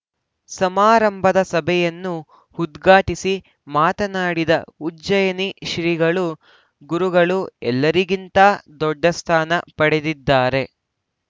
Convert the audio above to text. ಸಮಾರಂಭದ ಸಭೆಯನ್ನು ಉದ್ಘಾಟಿಸಿ ಮಾತನಾಡಿದ ಉಜ್ಜಯನಿ ಶ್ರೀಗಳು ಗುರುಗಳು ಎಲ್ಲರಗಿಂತ ದೊಡ್ಡ ಸ್ಥಾನ ಪಡೆದಿದ್ದಾರೆ